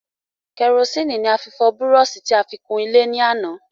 Kẹrosíni ni a fi fọ búróṣì tí a fi kun ilé ní àná